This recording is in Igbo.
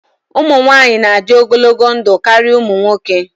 Ụmụ nwanyị na-adị ogologo ndụ karịa ụmụ nwoke